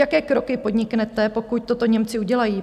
Jaké kroky podniknete, pokud toto Němci udělají?